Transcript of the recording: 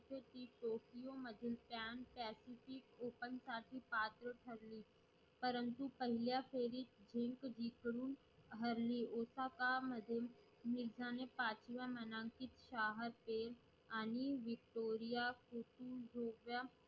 open साठी मात्र ठरली परंतु पहिल्या फेरीत इंद्रजीत कडून हरली ओबामा मधून मिर्झा ने पाचवा मानांकितलंपिक आणि Victoria